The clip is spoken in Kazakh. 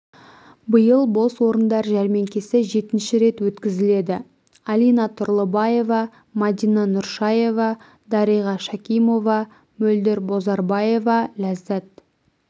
биыл бос орындар жәрмеңкесі жетінші рет өткізіледі алина тұрлыбаева мадина нұршаева дариға шакимова мөлдір бозарбаева ләззат